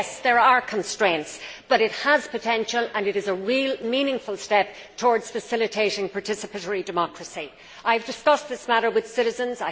Yes, there are constraints, but it has potential, and it is a real meaningful step towards facilitating participatory democracy. I have discussed this matter with citizens.